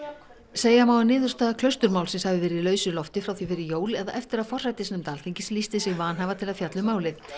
segja má að niðurstaða Klausturmálsins hafi verið í lausu lofti frá því fyrir jól eða eftir að forsætisnefnd Alþingis lýsti sig vanhæfa til að fjalla um málið